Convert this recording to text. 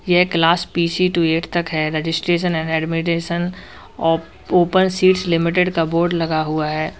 यह class P C to eight तक है रजिस्ट्रेशन एंड एडमिटेशन ओ ओपन सीट्स लिमिटेड का बोर्ड लगा हुआ है।